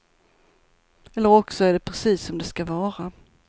Eller också är det precis som det skall vara.